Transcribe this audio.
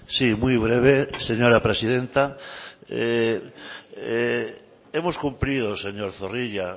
sí muy breve señora presidenta hemos cumplido señor zorrilla